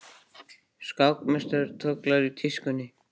Skákmeistari tollir í tískunni